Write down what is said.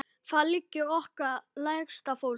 Þar liggur okkar lægsta fólk.